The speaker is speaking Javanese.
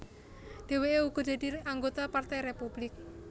Dhèwèké uga dadi anggota Partai Républik